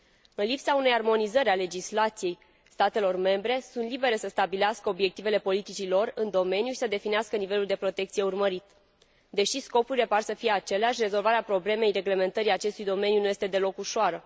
În lipsa unei armonizări a legislației, statele membre sunt libere să stabilească obiectivele politicii lor în domeniu și să definească nivelul de protecție urmărit. Deși scopurile par să fie aceleași, rezolvarea problemei reglementării acestui domeniu nu este deloc ușoară.